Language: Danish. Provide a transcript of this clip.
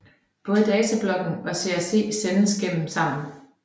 Både datablokken og CRC sendes eller gemmes sammen